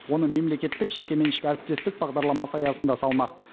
оны мемлекеттік жекеменшік әріптестік бағдарламасы аясында салмақ